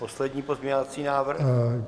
Poslední pozměňovací návrh.